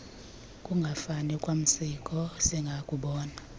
kungafani kwamasiko singakubona